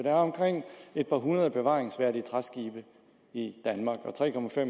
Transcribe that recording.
er omkring et par hundrede bevaringsværdige træskibe i danmark og tre